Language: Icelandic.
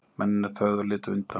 Mennirnir þögðu og litu undan.